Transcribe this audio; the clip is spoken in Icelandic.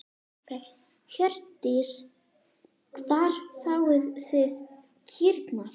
Hjördís: Hvar fáið þið kýrnar?